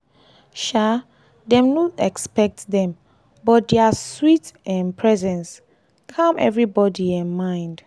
um dem no expect dem but dia sweet um presence calm everybody um mind.